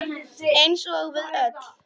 Eins og við öll.